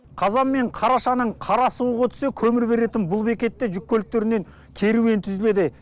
қазан мен қарашаның қара суығы өтсе көмір беретін бұл бекетте жүк көліктерінен керуен түзіледі